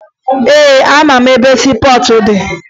Ee, amara m ebe siipọọtụ dị ebea